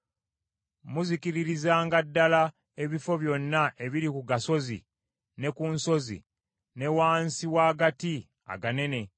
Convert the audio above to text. Muzikiririzanga ddala ebifo byonna ebiri ku gasozi ne ku nsozi, ne wansi w’agati aganene,